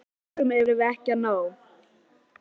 Hvaða eyrum erum við ekki að ná?